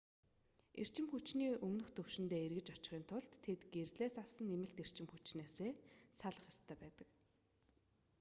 эрчим хүчний өмнөх түвшиндээ эргэж очихын тулд тэд гэрлээс авсан нэмэлт эрчим хүчнээсээ салах ёстой байдаг